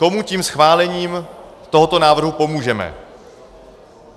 Komu tím schválením tohoto návrhu pomůžeme?